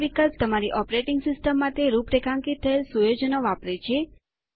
આ વિકલ્પ તમારી ઓપરેટિંગ સિસ્ટમ માટે રૂપરેખાંકિત થયેલ સુયોજનો વાપરે છે